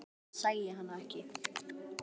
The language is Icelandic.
Lét sem hann sæi hana ekki.